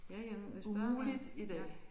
Ja ja men hvis bare man ja